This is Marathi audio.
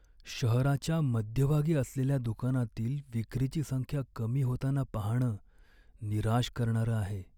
शहराच्या मध्यभागी असलेल्या दुकानातील विक्रीची संख्या कमी होताना पाहणं निराश करणारं आहे.